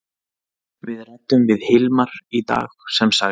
Við ræddum við Hilmar í dag sem sagði: